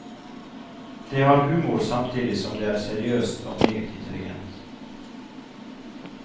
Det har humor samtidig som det er seriøst og meget intelligent.